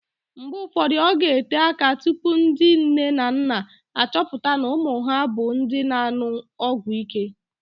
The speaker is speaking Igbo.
Mgbe ụfọdụ, ọ ga-ete áká tupu ndị nne na nna achọpụta na ụmụ ha bụ ndị na-an̄ụ ọgwụíké